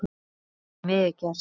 Það hafi því miður gerst.